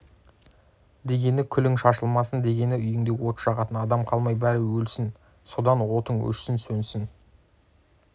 дегені күлің шашылмасын дегені үйіңде от жағатын адам қалмай бәрі өлсін содан отың өшсін сөнсін